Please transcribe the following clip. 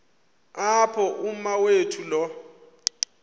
apho umawethu lo